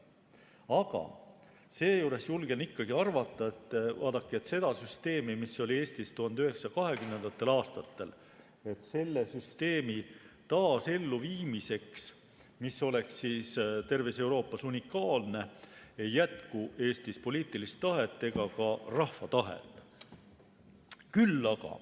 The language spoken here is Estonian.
Aga julgen ikkagi arvata, et vaadake, selle süsteemi, mis oli Eestis 1920. aastatel, taas elluviimiseks, mis oleks terves Euroopas unikaalne, ei jätku Eestis ei poliitilist tahet ega ka rahva tahet.